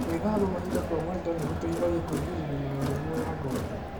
Gwĩthamba mahinda kwa mahinda nĩ gũteithagia kũĩgirĩrĩa na mĩrimũ ya ngothi.